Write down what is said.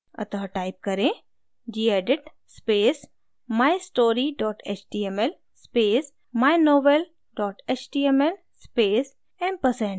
अतः type करें: gedit space mystory html space mynovel html space ampersand